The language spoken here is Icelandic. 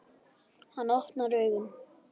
Hann opnar augun.